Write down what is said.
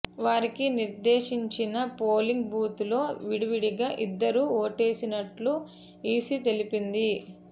వారికి నిర్దేశించిన polling booth లో విడివిడిగా ఇద్దరూ ఓటేసినట్టు ఈసీ తెలిపింది